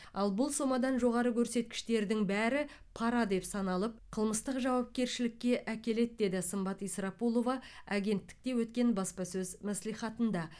ал бұл сомадан жоғары көрсеткіштердің бәрі пара деп саналып қылмыстық жауапкершілікке әкеледі деді сымбат исрапулова агенттікте өткен баспасөз мәслихатында